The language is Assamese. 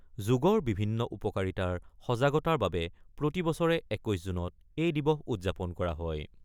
যোগৰ বিভিন্ন উপকাৰিতাৰ সজাগতাৰ বাবে প্ৰতিবছৰে ২১ জুনত এই দিবস উদযাপন কৰা হয়।